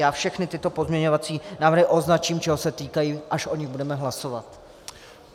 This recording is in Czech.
Já všechny tyto pozměňovacími návrhy označím, čeho se týkají, až o nich budeme hlasovat.